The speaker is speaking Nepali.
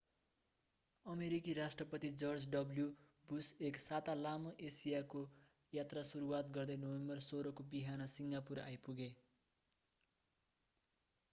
अमेरिकी राष्ट्रपति जर्ज डब्ल्यु बुस एक साता लामो एसियाको यात्रा सुरुवात गर्दै नोभेम्बर 16 को बिहान सिङ्गापुर आइपुगे